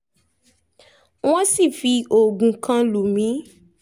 wọ́n sì fi oògùn kan lù mí